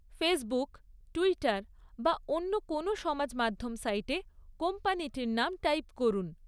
Facebook, Twitter বা অন্য কোনও সমাজ মাধ্যম সাইটে কোম্পানিটির নাম টাইপ করুন।